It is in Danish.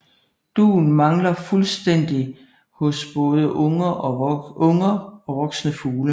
Dun mangler fuldstændigt hos både unger og voksne fugle